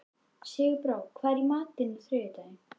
Sigurbára, hvað er í matinn á þriðjudaginn?